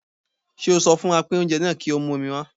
Ṣé o sọ fún apín oúnjẹ náà pé kí ó mú omi wá?